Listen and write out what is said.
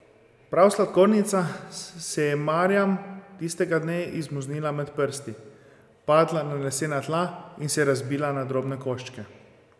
Prav sladkornica se je Marjam tistega dne izmuznila med prsti, padla na lesena tla in se razbila na drobne koščke.